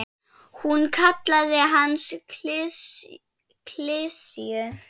Hún kallaði hann klisju.